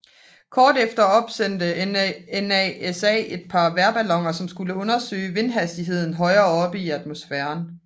Kort efter opsendte NASA et par vejrballoner som skulle undersøge vindhastigheden højere oppe i atmosfæren